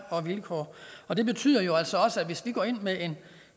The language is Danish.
vilkår og det betyder jo altså også at hvis vi går ind med en